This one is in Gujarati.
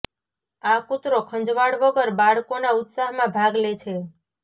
આ કૂતરો ખંજવાળ વગર બાળકોના ઉત્સાહમાં ભાગ લે છે